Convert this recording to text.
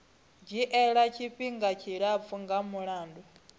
dzhiela tshifhinga tshilapfu nga mulandu